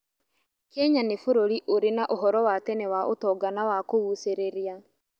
Kenya nĩ bũrũri ũrĩ na ũhoro wa tene wa ũtonga na wa kũgucĩrĩria.